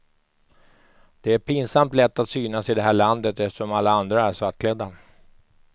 Det är pinsamt lätt att synas i det här landet eftersom alla andra är svartklädda.